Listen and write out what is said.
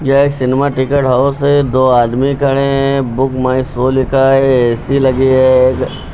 यह एक cinema ticket house है दो आदमी खड़े हैं। बुक माय शो लिखा है ए_सी लगी है।